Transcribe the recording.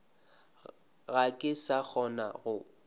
ga ke sa kgona go